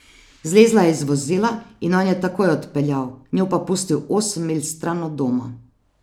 Zlezla je iz vozila in on je takoj odpeljal, njo pa pustil osem milj stran od doma.